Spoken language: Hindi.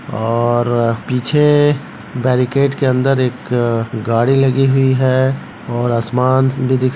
और पीछे बैरिकेड के अंदर एक गाड़ी लगी हुई है और आसमान भी दिख--